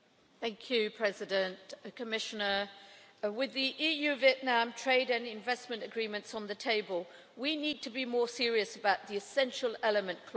Mr President, Commissioner, with the EU Vietnam trade and investment agreements on the table, we need to be more serious about the essential elements' clauses.